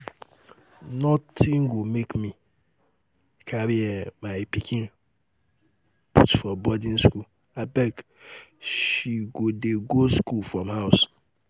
nothing go make um me um carry um my pikin put for boarding school abeg she go dey go school from house